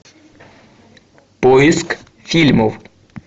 поиск фильмов